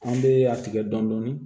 An bɛ a tigɛ dɔɔnin dɔɔnin